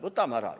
Võtame ära!